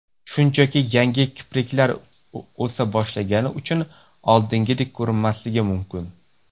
Shunchaki yangi kipriklar o‘sa boshlagani uchun oldingidek ko‘rinmasligi mumkin.